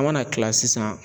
An mana kila sisan